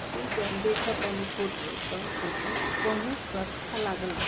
इ जॉन देखा तानी फोटो तहन फोटो कोनो संस्था लागल बाटे।